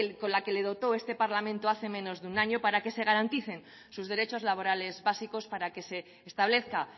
con la que le dotó este parlamento hace menos de un año para que se le garanticen sus derechos laborales básicos para que se establezca